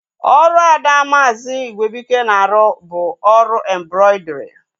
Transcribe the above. Ọrụ ada maazi Igwebuike na-arụ bụ ọrụ embrọidrii